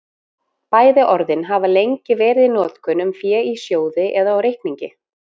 Bæði orðin hafa lengi verið í notkun um fé í sjóði eða á reikningi.